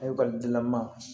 dilaman